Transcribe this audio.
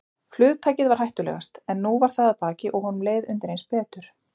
Flugtakið var hættulegast, en nú var það að baki og honum leið undireins betur.